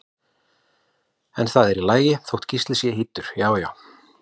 En það er í lagi þótt Gísli sé hýddur, já já!